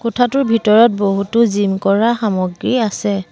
কোঠাটোৰ ভিতৰত বহুতো জিম কৰা সামগ্ৰী আছে।